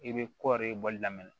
I bɛ kɔɔri bɔli daminɛ